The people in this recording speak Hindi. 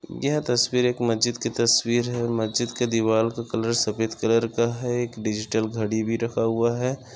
यह तस्वीर एक मज्जीत की तस्वीर है। मज्जीत के दीवार का कलर सफेद कलर का है एक डिजिटल घडी भी रखा हुआ है।